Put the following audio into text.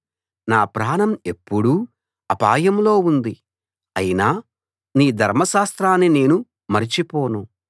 నా ప్రాణం ఎప్పుడూ అపాయంలో ఉంది అయినా నీ ధర్మశాస్త్రాన్ని నేను మరిచిపోను